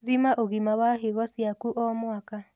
Thima ũgima wa higo ciaku o mwaka